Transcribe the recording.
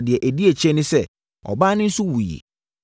Deɛ ɛdi akyire ne sɛ, ɔbaa no nso wuiɛ.